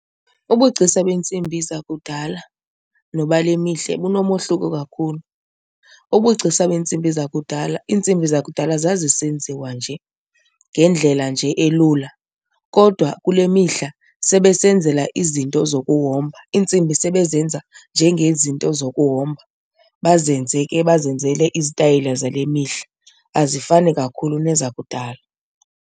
Ubugcisa beentsimbi zakudala nobale mihla bunomohluko kakhulu. Ubugcisa beentsimbi zakudala, iintsimbi zakudala zazisenziwa nje ngendlela nje elula kodwa kule mihla sebesenzela izinto zokuhomba. Iintsimbi sebezenza njengezinto zokuhomba, bazenze ke bazenzele izitayela zale mihla, azifani kakhulu nezakudala.